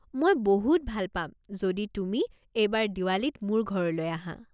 মই বহুত ভাল পাম যদি তুমি এইবাৰ দিৱালীত মোৰ ঘৰলৈ আহা।